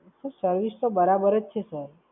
Sir, service તો બરાબર જ છે Sir